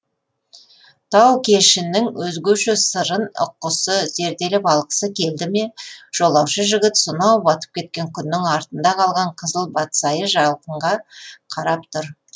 тау кешінің өзгеше сырын ұққысы зерделеп алғысы келді ме жолаушы жігіт сонау батып кеткен күннің артында қалған қызыл батсайы жалқынға қарап тұр